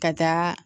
Ka taa